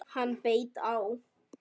Hann beit á!